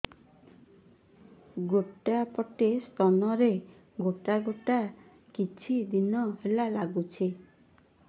ଗୋଟେ ପଟ ସ୍ତନ ରେ ଗୋଟେ ଗେଟା କିଛି ଦିନ ହେଲା ଲାଗୁଛି